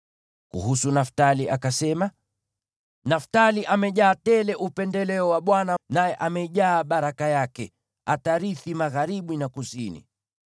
Kuhusu Naftali akasema: “Naftali amejaa tele upendeleo wa Bwana , naye amejaa baraka yake; atarithi magharibi na kusini.”